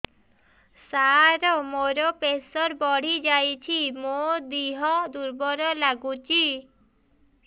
ସାର ମୋର ପ୍ରେସର ବଢ଼ିଯାଇଛି ମୋ ଦିହ ଦୁର୍ବଳ ଲାଗୁଚି